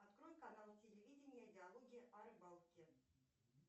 открой канал телевидения диалоги о рыбалке